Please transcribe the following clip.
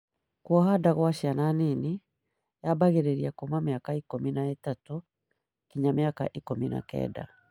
Kwoha nda kwa ciana nini yabagĩrĩria kuuma mĩaka ikũmi na ithatũ nginya mĩaka ikũmi na kenda.